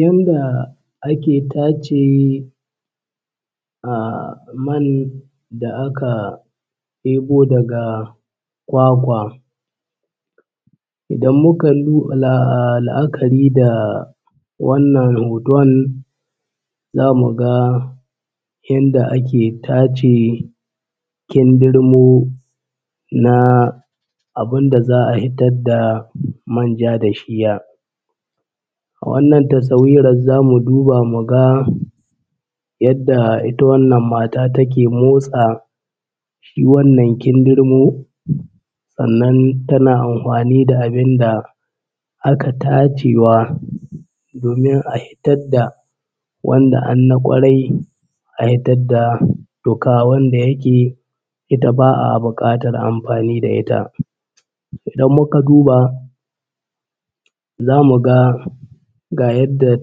Yanda ake tace man da aka ɗebo daga kwakwa. Idan muka luu la’akari da wannan hoton za mu ga yanda ake tace kindirmo na abin da za a fitar da manja da shiya. Wannan tasawirar za mu duba mu ga yadda ita wannan mata take motsa shi wannan kindirmo sannan tana anhwani da abin da aka tacewa domin a hitad da wanda an na ƙwarai a hitad da tuƙa wanda yake ita ba a buƙatar anhwani da ita. Idan muka duba zamu ga ga yadda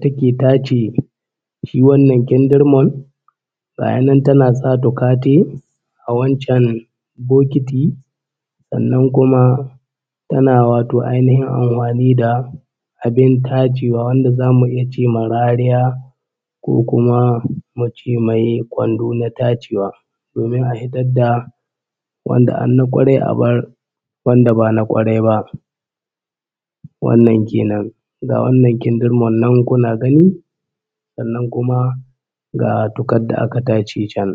take tace shi wannan kindirmon gaya nan tana sa tuƙa tai a wancan bokoti sannan kuma tana wato ainihin anhwani da abin tacewa wadda zamu iya ce ma rariya ko kuma mu ce mai kwando na tacewa domin a hitar da wanda an na ƙwarai a bar wanda ba na ƙwarai ba, wannan kenan. Ga wannan kindirmon nan kuna gani sannan kuma ga tuƙar da aka tace can.